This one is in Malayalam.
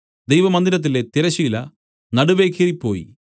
ദൈവമന്ദിരത്തിലെ തിരശ്ശീല നടുവെ കീറിപ്പോയി